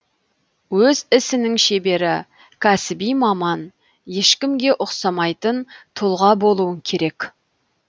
өз ісінің шебері кәсіби маман ешкімге ұқсамайтын тұлға болуың керек